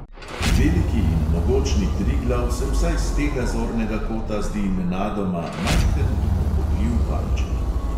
Veliki in mogočni triglav se vsaj s tega zornega kota zdi nenadoma majhen in ubogljiv palček.